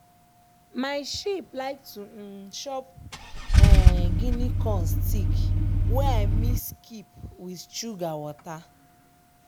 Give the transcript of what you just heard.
my sheep like to um chop um guinea corn stick wey i mix keep wit suga wata.